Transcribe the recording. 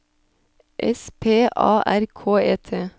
S P A R K E T